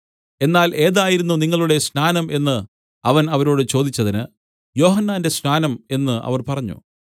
എന്നാൽ ഏതായിരുന്നു നിങ്ങളുടെ സ്നാനം എന്ന് അവൻ അവരോട് ചോദിച്ചതിന് യോഹന്നാന്റെ സ്നാനം എന്ന് അവർ പറഞ്ഞു